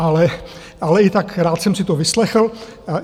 Ale i tak, rád jsem si to vyslechl.